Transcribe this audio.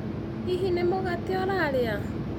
Hihi nĩ mũgate urarĩa?